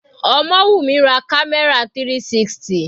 Omowumi ra camera 360.